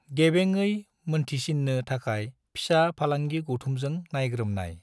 गेबेङै मोनथिसिन्नो थाखाय फिसा फालांगि गौथुमजों नायग्रोमनाय।